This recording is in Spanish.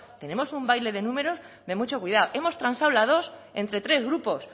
tenemos un baile de números de mucho cuidado hemos transado la dos entre tres grupos